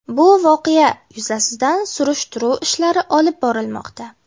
Bu voqea yuzasidan surishtiruv ishlari olib borilmoqda.